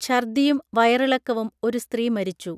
ഛർദിയും വയറിളക്കവും ഒരു സ്ത്രീ മരിച്ചു